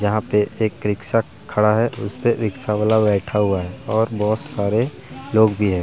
यहां पे एक रिक्शा खड़ा है उस पे रिक्शावाला बैठा हुआ है और बहुत सारे लोग भी हैं।